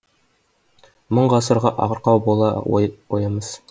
мың ғасырға арқау болар ойымыз